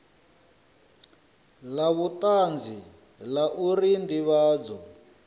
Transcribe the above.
la vhutanzi la uri ndivhadzo